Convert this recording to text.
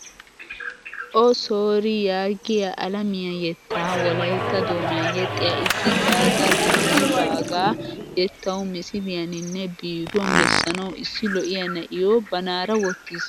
"O-soori" yaagiyaa alamiyaa yetta wolaytta doonan yeexiyaa issi Gaga Didi baagaa yettawu misiliyaninne biiduwaan bessanawu issi lo'iyaa na'iyo banaara wottiis.